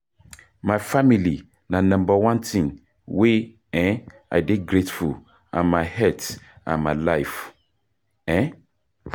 My family na number one thing wey um i dey grateful and my health and my life. um